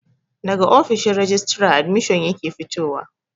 Daga ofishin rajistara admishin yake fitowa